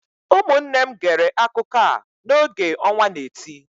Ụmụnne m gere akụkọ a n’oge ọnwa n'eti